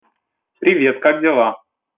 привет как дела